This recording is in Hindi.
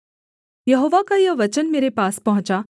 यहोवा का यह वचन मेरे पास पहुँचा